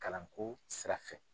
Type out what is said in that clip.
Kalanko sira fɛ.